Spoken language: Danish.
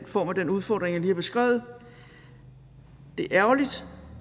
form af den udfordring jeg lige har beskrevet det er ærgerligt